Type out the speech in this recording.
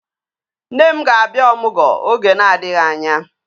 Nne m ga-abịa ọmụgwọ oge na-adịghị anya